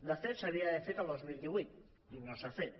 de fet s’havia d’haver fet el dos mil divuit i no s’ha fet